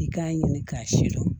I k'a ɲini k'a sidɔn